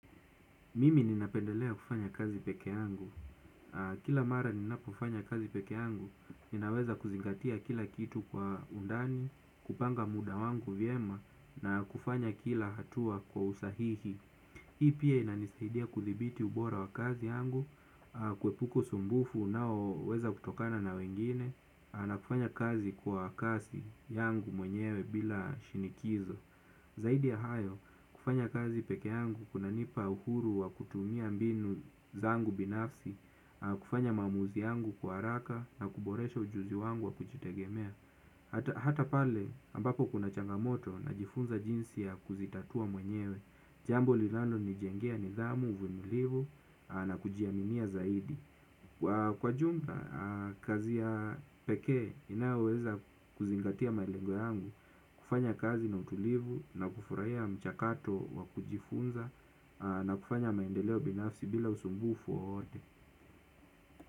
Mimi ninapendelea kufanya kazi peke yangu. Kila mara ninapofanya kazi peke yangu, ninaweza kuzingatia kila kitu kwa undani, kupanga muda wangu vyema, na kufanya kila hatua kwa usahihi. Hii pia inanisaidia kudhibiti ubora wa kazi yangu, kuepuka usumbufu unao weza kutokana na wengine, na kufanya kazi kwa kasi yangu mwenyewe bila shinikizo. Zaidi ya hayo, kufanya kazi peke yangu kuna nipa uhuru wa kutumia mbinu zangu binafsi, kufanya maamuzi yangu kwa haraka na kuboresha ujuzi wangu wa kujitegemea. Hata pale, ambapo kuna changamoto najifunza jinsi ya kuzitatua mwenyewe, jambo linalo nijengea nidhamu, uvumilivu na kujiaminia zaidi. Kwa jumla, kazi ya peke inayoweza kuzingatia malengo yangu, kufanya kazi na utulivu na kufurahia mchakato wa kujifunza na kufanya maendeleo binafsi bila usumbufu wowote.